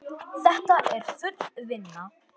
Þetta er full vinna!